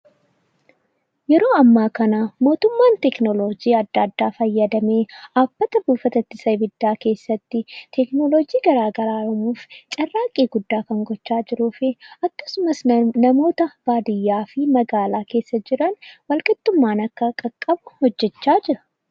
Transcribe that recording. Yeroo ammaa kana mootummaan tekinoloojii adda addaa fayyadamee bakka buufata ittisa ibiddaa keessatti tekinoloojii gara garaa fayyadamuun carraaqqii guddaa gochaa kan jiruu fi akkasumas namoota baadiyyaa fi magaalaa keessa jiran walqixxummaan akka dhaqqabu hojjechaa jira.